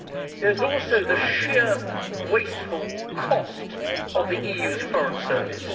There is also the sheer wasteful cost of the EU's Foreign Service.